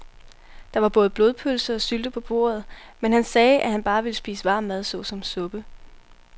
Der var både blodpølse og sylte på bordet, men han sagde, at han bare ville spise varm mad såsom suppe.